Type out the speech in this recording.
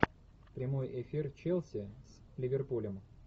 прямой эфир челси с ливерпулем